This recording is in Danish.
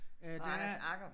Og Anders Agger